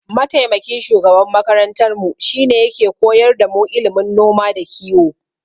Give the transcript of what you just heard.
Mataimakin shugaban makarantarmu shine yake koyar damu ilimin noma da kiyo.